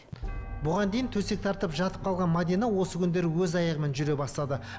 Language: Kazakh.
бұған дейін төсек тартып жатып қалған мәдина осы күндері өз аяғымен жүре бастады